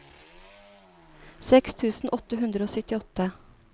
seks tusen åtte hundre og syttiåtte